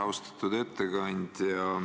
Austatud ettekandja!